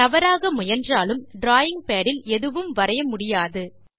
தவறாக முயன்றாலும் drawing pad இல் எதுவும் வரைய முடியாது